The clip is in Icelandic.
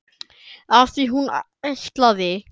Af því hún ætlaði.